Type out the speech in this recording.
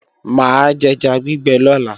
Mà á jẹja gbígbẹ lọ́la